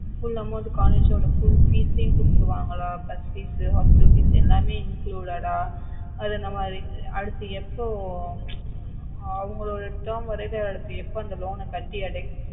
full amount collage ஓட full fees குடுத்துடுவாங்களா bus fees hostel fees எல்லாமே included அது நம்ம அது அடுத்து எப்போ அவங்களுடைய term வர வரைக்கும் எப்போ அந்த loan கட்டி அடைக்க